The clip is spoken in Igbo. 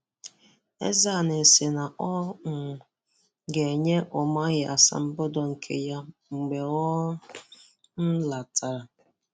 Ezeani sị na ọ um ga-enye Umahi asambodo nke ya mgbe ọ um lọtara.